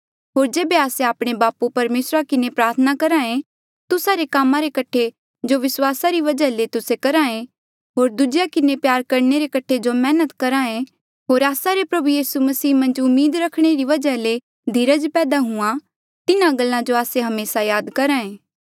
होर जेबे आस्से आपणे बापू परमेसरा किन्हें प्रार्थना करहा ऐें तुस्सा रे कामा रे कठे जो विस्वासा री वजहा ले तुस्से करहा ऐें होर दूजेया किन्हें प्यार करणे रे कठे जो मैहनत करहा ऐें होर आस्सा रे प्रभु यीसू मसीह मन्झ उम्मीद रखणे रे वजहा ले जो धीरज पैदा हूंहाँ तिन्हा गल्ला जो आस्से हमेसा याद करहा ऐें